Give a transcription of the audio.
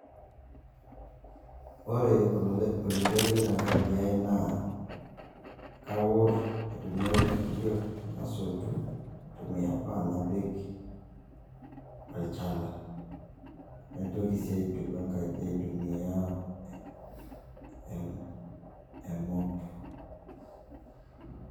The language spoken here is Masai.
Ore oloirerio tenkaji ai naa, kaor aitumia olkifagia, nasotu aitumia pan napik olchala, naitoki sii aituku enkaji aitumia emop.